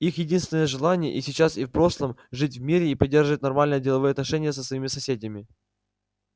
их единственное желание и сейчас и в прошлом жить в мире и поддерживать нормальные деловые отношения со своими соседями